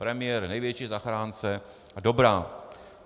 Premiér - největší zachránce a dobrák.